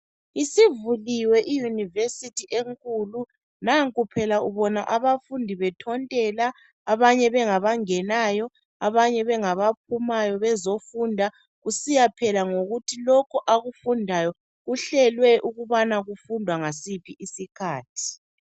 Isivuliwe iyunivesithi enkulu nanku phela ubona abafundi bethontela abanye bengaba ngenayo abanye bengabaphumayo. Bezofunda kusiya phela ngokuthi lokhu akufundayo kuhlelwe ukubana kufundwa ngasiphi isikhathi.